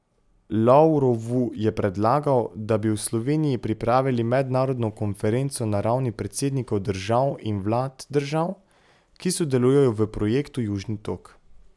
Lavrovu je predlagal, da bi v Sloveniji pripravili mednarodno konferenco na ravni predsednikov držav in vlad držav, ki sodelujejo v projektu Južni tok.